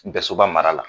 Dɛsɛ ba mara la